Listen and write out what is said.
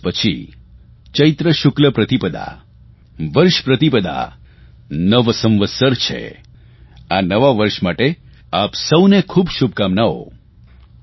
બે દિવસ પછી ચૈત્ર શુકલ પ્રતિપદા વર્ષ પ્રતિપદા નવ સંવત્સર છે આ નવા વર્ષ માટે આ સૌને ખૂબ શુભકામનાઓ